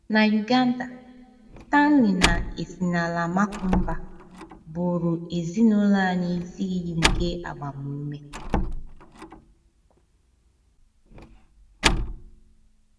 Na Uganda, Stanley na Esinala Makumba bụụrụ ezinụlọ anyị isi iyi nke agbamume